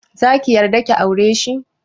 Zaki yarda ki aureshi?